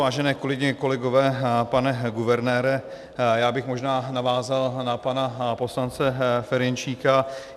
Vážené kolegyně, kolegové, pane guvernére, já bych možná navázal na pana poslance Ferjenčíka.